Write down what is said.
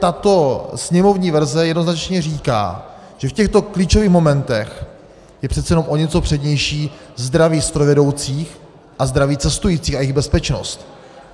Tato sněmovní verze jednoznačně říká, že v těchto klíčových momentech je přece jenom o něco přednější zdraví strojvedoucích a zdraví cestujících a jejich bezpečnost.